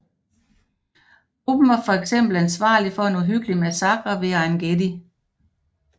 Gruppen var fx ansvarlig for en uhyggelig massakre ved Ein Gedi